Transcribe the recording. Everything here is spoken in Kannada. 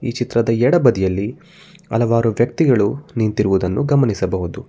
ಈ ಚಿತ್ರದ ಎಡ ಬದಿಯಲ್ಲಿ ಹಲವಾರು ವ್ಯಕ್ತಿಗಳು ನಿಂತಿರುವುದನ್ನು ಗಮನಿಸಬಹುದು.